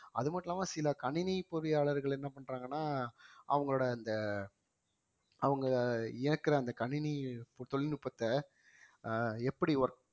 அது மட்டும் இல்லாம சில கணினி பொறியாளர்கள் என்ன பண்றாங்கன்னா அவங்களோட அந்த அவங்க இயக்குற அந்த கணினி தொழில்நுட்பத்தை அஹ் எப்படி work